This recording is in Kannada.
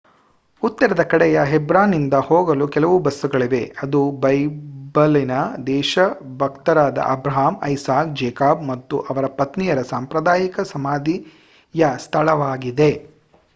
ಉತ್ತರದ ಕಡೆಯ ಹೆಬ್ರಾನ್ನಿಗೆ ಹೋಗಲು ಕೆಲವು ಬಸ್ಸುಗಳಿವೆ ಅದು ಬೈಬಲಿನ ದೇಶಭಕ್ತರಾದ ಅಬ್ರಾಹಂ ಐಸಾಕ್ ಜೇಕಬ್ ಮತ್ತು ಅವರ ಪತ್ನಿಯರ ಸಾಂಪ್ರದಾಯಿಕ ಸಮಾಧಿಯ ಸ್ಥಳವಾಗಿದೆ